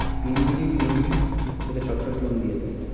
PNB নেই PNB এটা চটচট loan দিয়ে দেয়।